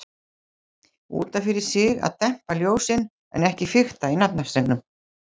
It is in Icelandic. Út af fyrir sig að dempa ljósin, en ekki fikta í naflastrengnum.